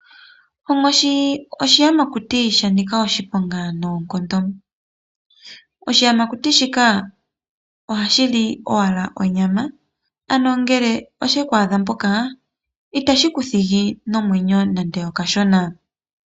Onkoshi oshiyamakuti shanika oshiponga noonkondo . Oshiyamakuti shika ohashi li owala onyama ano ngele osheku adha mpoka itashi kuthigi nomwenyo nande okashona.